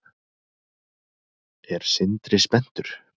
Er Sindri spenntur?